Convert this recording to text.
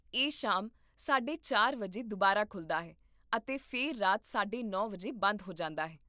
ਇਹ ਸ਼ਾਮ ਸਾਢੇ ਚਾਰ ਵਜੇ ਦੁਬਾਰਾ ਖੁੱਲ੍ਹਦਾ ਹੈ, ਅਤੇ ਫਿਰ ਰਾਤ ਸਾਢੇ ਨੌ ਵਜੇ ਬੰਦ ਹੁੰਦਾ ਹੈ